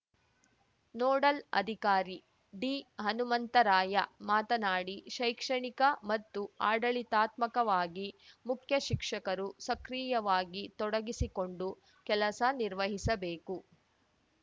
nodal ಅಧಿಕಾರಿ ಡಿಹನುಮಂತರಾಯ ಮಾತನಾಡಿ ಶೈಕ್ಷಣಿಕ ಮತ್ತು ಆಡಳಿತಾತ್ಮಕವಾಗಿ ಮುಖ್ಯಶಿಕ್ಷಕರು ಸಕ್ರಿಯವಾಗಿ ತೊಡಗಿಸಿಕೊಂಡು ಕೆಲಸ ನಿರ್ವಹಿಸಬೇಕು